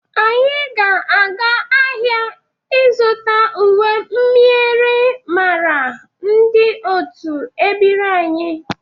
Anyị ga-aga ahịa ịzụta uwe myịrịmara ndị otu ebiri anyị.